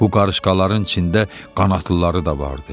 Bu qarışqaların içində qanadlıları da vardı.